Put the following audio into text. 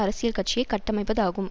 அரசியல் கட்சியை கட்டமைப்பதாகும்